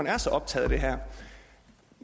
er så optaget af det her